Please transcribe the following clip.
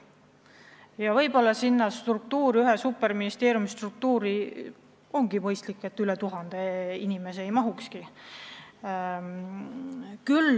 Ja võib-olla ühe superministeeriumi struktuuri üle tuhande inimese ei mahukski.